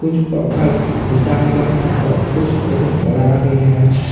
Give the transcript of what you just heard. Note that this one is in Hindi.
कुछ पत्थर टूटा हुआ है और कुछ बहुत बड़ा भी है।